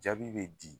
Jaabi bɛ di